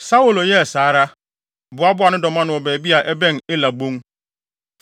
Saulo yɛɛ saa ara, boaboaa ne dɔm ano wɔ baabi a ɛbɛn Ela bon.